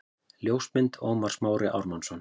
Ljósmynd: Ómar Smári Ármannsson